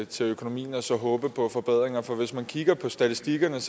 til økonomien og så håbe på forbedringer for hvis man kigger på statistikkerne